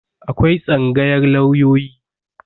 Akwai Tsangayar lauyoyi.